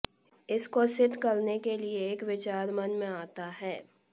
इसको सिद्ध करने के लिए एक विचार मन में आता है